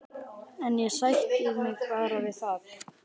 En ég sætti mig bara við það.